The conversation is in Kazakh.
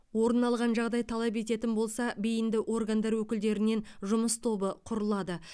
орын алған жағдай талап ететін болса бейінді органдар өкілдерінен жұмыс тобы құрылады